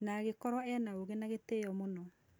Na agĩkorwo ena ũgĩ na gĩtĩo mũno.